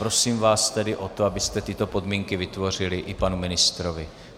Prosím vás tedy o to, abyste tyto podmínky vytvořili i panu ministrovi.